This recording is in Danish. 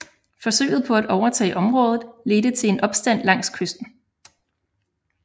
Forsøget på at overtage området ledte til en opstand langs kysten